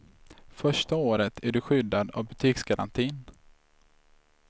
Första året är du skyddad av butiksgarantin.